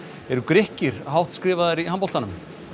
eru Grikkir hátt skrifaðir í handboltanum